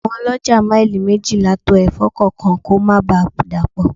Àwọn olójà maili méjìlá to Ẹ̀fọ́ kọ̀ọ̀kan kó má ba dapo.